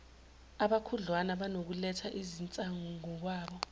abakhudlwana banokuletha izinsizangokwabo